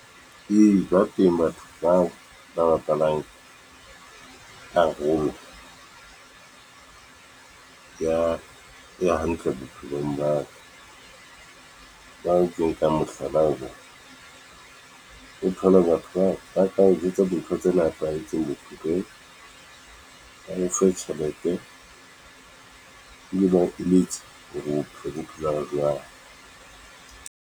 Ee, ba teng batho bao , ba bapalang karolo ya e hantle bophelong ba ka , o thole batho bao ba ka o jwetse bo ntho tse nepahetseng ba o fe tjhelete, e be ba o eletsa, hore bophelo bo phelwa jwang.